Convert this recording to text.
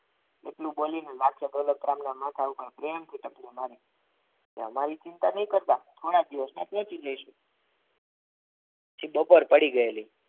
એટલું બોલીને માથે દોલતરામના માથા ઉપર કે અમારી ચિંતા નહીં કરતા થોડાક દિવસોમાં પહોંચી જઈશું પછી બપોર પડી ગયેલી.